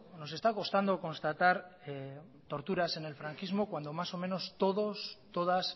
nos está costando constatar torturas en el franquismo cuando más o menos todos y todas